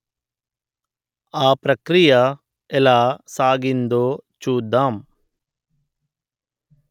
ఆ ప్రక్రియ ఎలా సాగిందో చూద్దాం